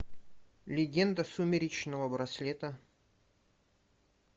легенда сумеречного браслета